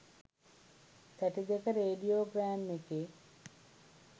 තැටි දෙක radiogram එකේ